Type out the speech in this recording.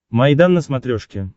майдан на смотрешке